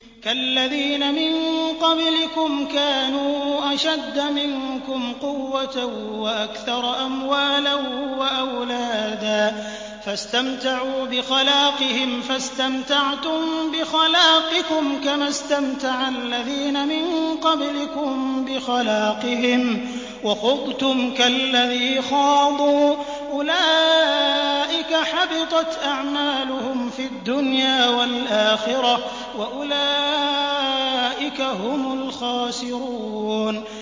كَالَّذِينَ مِن قَبْلِكُمْ كَانُوا أَشَدَّ مِنكُمْ قُوَّةً وَأَكْثَرَ أَمْوَالًا وَأَوْلَادًا فَاسْتَمْتَعُوا بِخَلَاقِهِمْ فَاسْتَمْتَعْتُم بِخَلَاقِكُمْ كَمَا اسْتَمْتَعَ الَّذِينَ مِن قَبْلِكُم بِخَلَاقِهِمْ وَخُضْتُمْ كَالَّذِي خَاضُوا ۚ أُولَٰئِكَ حَبِطَتْ أَعْمَالُهُمْ فِي الدُّنْيَا وَالْآخِرَةِ ۖ وَأُولَٰئِكَ هُمُ الْخَاسِرُونَ